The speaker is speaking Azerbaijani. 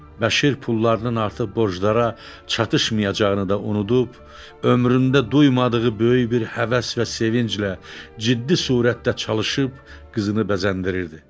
Bəşir pullarının artıq borclara çatışmayacağını da unudub, ömründə duymadığı böyük bir həvəs və sevinclə ciddi surətdə çalışıb qızını bəzəndirirdi.